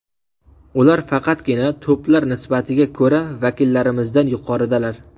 Ular faqatgina to‘plar nisbatiga ko‘ra vakillarimizdan yuqoridalar.